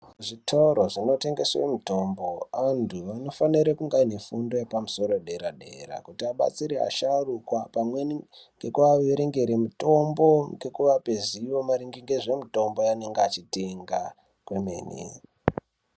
Muzvitoro zvinotengeswe mitombo anthu anofanire kunge aine fundo yepamusoro dera dera kuti abatsire asharukwa pamweni ngekuarengere mitombo ngekuvape zivo maringe ngezvemitombo yavanenge vachitenga kwemene.